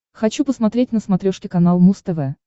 хочу посмотреть на смотрешке канал муз тв